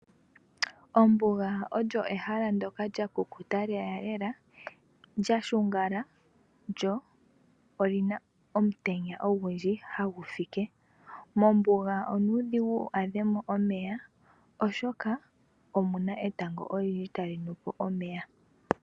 Ombuga olyo ehala ndyoka lyakukuta lelalela, lyashungala lyo olina omutenya ogundji hagu fike, mombuga onuudhigu wadhemo omeya oshoka omuna etango olindji tali nupo omeya.